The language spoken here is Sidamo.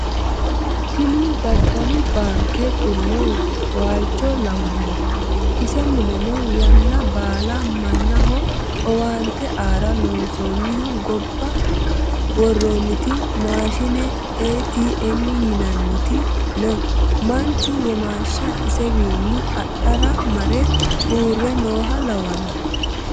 Tini daddalu baanke xu'lo waalcho lawano ise mulenno yanna baala mannaho owaante aara loonsonihu gobba woranit maashine ATM yinanniti no manchu womashsha isewinni adhara mare uurre nooha lawano